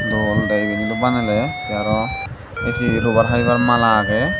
dol dege yeniloi banele te arow esi robar habibar mala agey.